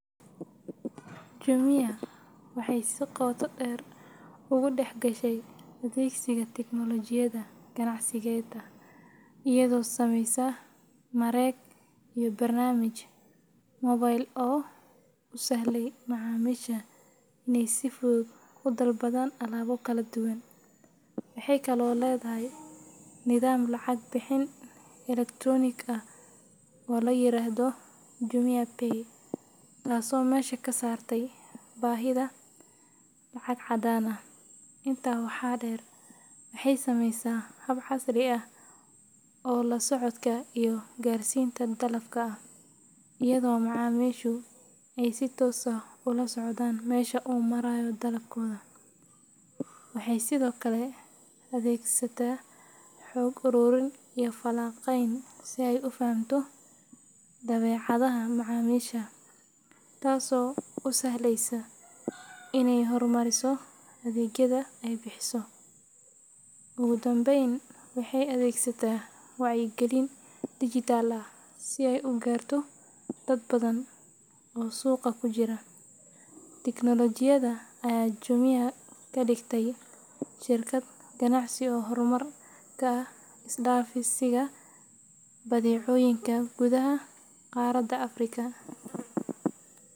Jumia waxay si qoto dheer ugu dhex gashay adeegsiga tiknoolajiyadda ganacsigeeda iyadoo sameysay mareeg iyo barnaamij moobil oo u sahlaya macaamiisha inay si fudud u dalbadaan alaabo kala duwan. Waxay kaloo leedahay nidaam lacag-bixin elektaroonik ah oo la yiraahdo JumiaPay, taasoo meesha ka saartay baahida lacag caddaan ah. Intaa waxaa dheer, waxay samaysay hab casri ah oo la socodka iyo gaarsiinta dalabka ah, iyadoo macaamiishu ay si toos ah ula socdaan meesha uu marayo dalabkooda. Waxay sidoo kale adeegsataa xog ururin iyo falanqeyn si ay u fahamto dabeecadaha macaamiisha, taasoo u sahleysa inay horumariso adeegyada ay bixiso. Ugu dambeyn, waxay adeegsataa wacyigelin dijitaal ah si ay u gaarto dad badan oo suuqa ku jira. Tiknoolajiyadda ayaa Jumia ka dhigtay shirkad ganacsi oo hormuud ka ah is-dhaafsiga badeecooyinka gudaha qaaradda Afrika.